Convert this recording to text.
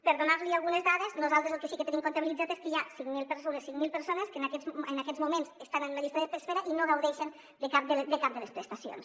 per donar·n’hi algunes dades nosaltres el que sí que tenim comptabilitzat és que hi ha unes cinc mil persones que en aquests moments estan en una llista d’es·pera i no gaudeixen de cap de les prestacions